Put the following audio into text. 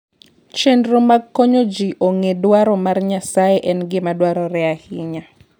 Chenro mag konyo ji ong'e dwaro mar Nyasaye en gima dwarore ahinya.